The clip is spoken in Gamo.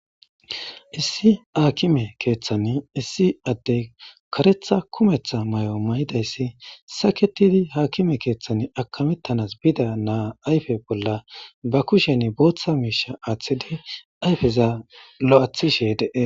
Issi haakime keeththani issi addey karetha kumeththa may'o may'idayssi saketidi haakime keeththan akamettanas bida naa ayfe bolla ba kushen booththa miisha aaththidi ayfeza lo'athishe dee.